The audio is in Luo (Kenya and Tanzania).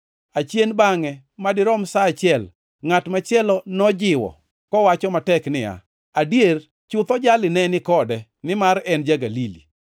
Achien bangʼe madirom sa achiel, ngʼat machielo nojiwo kowacho matek niya, “Adier chutho jali ne ni kode, nimar en ja-Galili.”